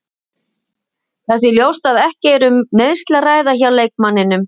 Það er því ljóst að ekki er um meiðsli að ræða hjá leikmanninum.